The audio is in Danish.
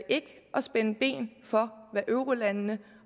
spænde ben for hvad eurolandene